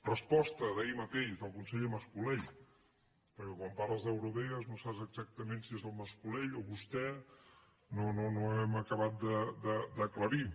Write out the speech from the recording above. resposta d’ahir mateix del conseller mas colell perquè quan parles d’eurovegas no saps exactament si és en mas colell o vostè no ho hem acabat d’aclarir